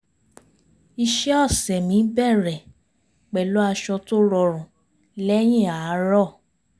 iṣẹ́ ọ̀sẹ̀ mi bẹ̀rẹ̀ pẹ̀lú aṣọ tó rọrùn lẹ́yìn àárọ̀